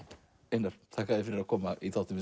einar þakka þér fyrir að koma í þáttinn